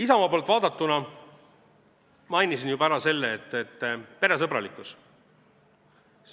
Isamaa poolt vaadatuna mainisin juba ära peresõbralikkuse.